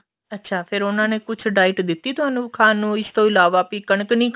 ਅੱਛਾ ਫਿਰ ਉਹਨਾ ਨੇ ਕੁੱਝ diet ਦਿੱਤੀ ਤੁਹਾਨੂੰ ਖਾਣ ਨੂੰ ਇਸ ਤੋ ਇਲਾਵਾ ਵੀ ਕਣਕ ਨੀ ਖਾਣੀ